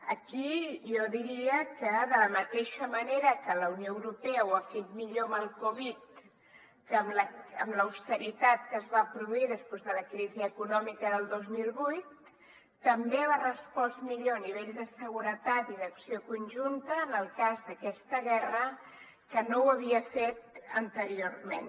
aquí jo diria que de la mateixa manera que la unió europea ho ha fet millor amb el covid que amb l’austeritat que es va produir després de la crisi econòmica del dos mil vuit també ha respost millor a nivell de seguretat i d’acció conjunta en el cas d’aquesta guerra que no ho havia fet anteriorment